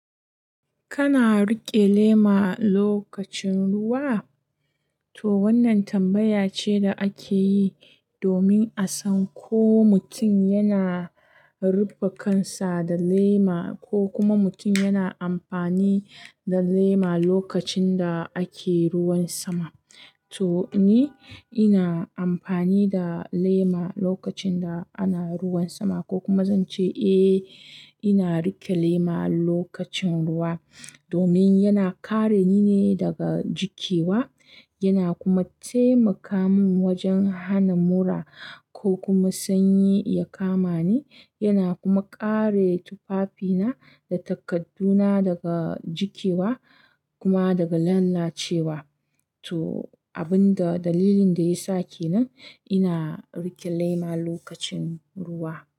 Kana riƙe lema lokacin ruwa? To wannan tambaya ce da ake yi domin a san ko mutum yana ruppe kansa da lema ko kuma mutum yana amfani da lema lokacin da ake ruwan sama. To ni ina amfani da lema lokacin da ana ruwan sama ko kuma zan ce eh ina riƙe lema lokacin ruwa domin yana kare ni ne daga jikewa yana kuma taimaka min wajen hana mura ko kuma sanyi ya kama ni yana kuma kare tufafina da takadduna daga jikewa kuma daga lalacewa. To abin da dalilin da yasa kenan ina riƙe lema lokacin ruwa.